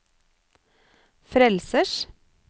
frelsers